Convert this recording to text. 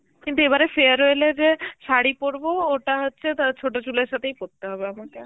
কিন্তু এবারে farewell এ যে শাড়ি পরবো ওটা হচ্ছে তা ছোট তুলার সাথেই পড়তে হবে আমাকে